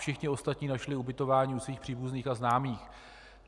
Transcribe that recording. Všichni ostatní našli ubytování u svých příbuzných a známých.